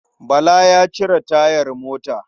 Bala ya cire tayar mota.